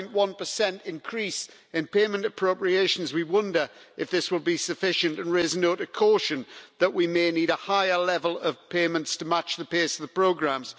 1.1 increase in payment appropriations, we wonder if this will be sufficient and raise a note of caution that we may need a higher level of payments to match the pace of the programmes.